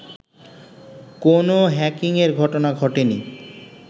কোনও হ্যাকিংয়ের ঘটনা ঘটেনি